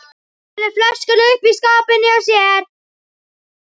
Felur flöskuna uppi í skáp inni hjá sér.